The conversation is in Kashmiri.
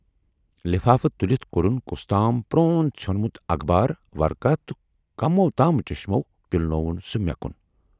لِفافہٕ تُلِتھ کوڈُن کُستام پرون ژھیونمُت اخبار ورقاہ تہٕ کموو تام چشمو پِلنووُن سُہ مے کُن۔